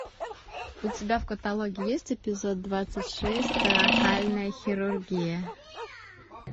у тебя в каталоге есть эпизод двадцать шесть торакальная хирургия